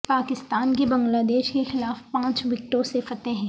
پاکستان کی بنگلہ دیش کے خلاف پانچ وکٹوں سے فتح